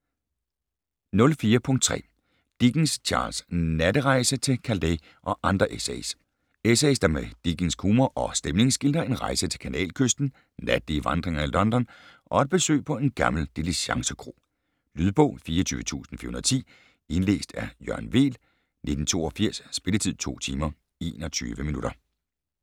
04.3 Dickens, Charles: Natterejse til Calais og andre essays Essays, der med dickensk humor og stemning skildrer en rejse til Kanalkysten, natlige vandringer i London, og et besøg på en gammel diligencekro. Lydbog 24410 Indlæst af Jørgen Weel, 1982. Spilletid: 2 timer, 21 minutter.